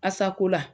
Asako la